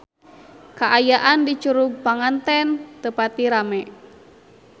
Kaayaan di Curug Panganten teu pati rame